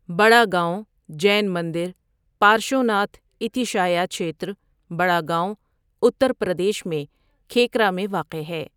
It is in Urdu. بڑا گاون جین مندر 'پارشوناتھ اتیشایا چھیتر'، بڑا گاون، اتر پردیش میں کھیکرا میں واقع ہے۔